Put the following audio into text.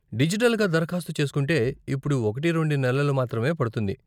డిజిటల్గా దరఖాస్తు చేస్కుంటే ఇప్పుడు ఒకటి రెండు నెలలు మాత్రమే పడుతుంది.